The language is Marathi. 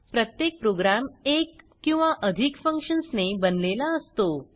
प्रत्येक प्रोग्रॅम एक किंवा अधिक फंक्शन्स ने बनलेला असतो